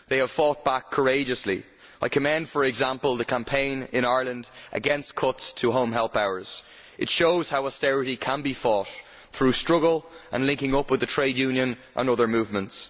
They have fought back courageously. I commend, for example, the campaign in Ireland against cuts to home help hours. It shows how austerity can be fought through struggle and linking up with the trade union movement and other movements.